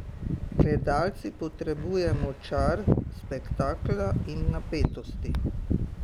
Gledalci potrebujemo čar spektakla in napetosti.